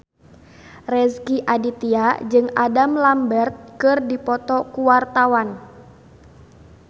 Rezky Aditya jeung Adam Lambert keur dipoto ku wartawan